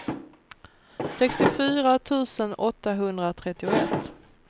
sextiofyra tusen åttahundratrettioett